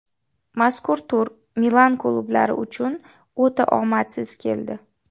Mazkur tur Milan klublari uchun o‘ta omadsiz keldi.